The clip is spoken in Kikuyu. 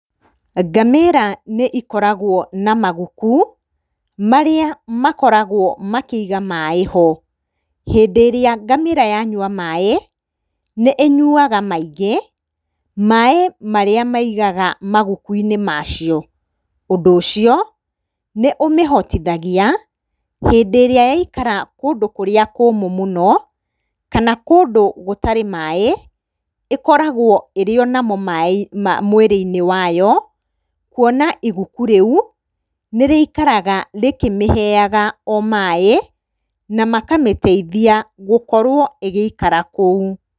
Ngamĩra nĩikoragwo na maguku, marĩa makoragwo makĩiga maaĩ ho. Hĩndĩ ĩrĩa ngamĩra yanyua maaĩ, nĩ ĩnyuaga maingĩ, maaĩ marĩa maigaga maguku-inĩ macio. Ũndũ ũcio, nĩ ũmĩhotithagia, hĩndĩ ĩrĩa yaikara kũndũ kũrĩa kũmũ mũno, kana kũndũ gũtarĩ maaĩ, ĩkoragwo ĩrĩ onamo mwĩrĩ-inĩ wayo, kuona iguku rĩu nĩrĩikaraga rĩkĩmĩheaga o maaĩ, na makamĩtithia gũkorwo ĩgĩikara kũu.